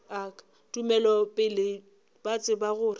tumelo pele ba tseba gore